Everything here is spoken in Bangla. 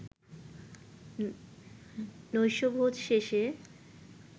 নৈশভোজ শেষে